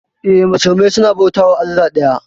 Eh, musulmai suna bautawa allah daya.